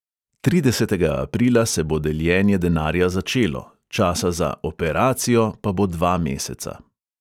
Tridesetega aprila se bo deljenje denarja začelo, časa za "operacijo" pa bo dva meseca.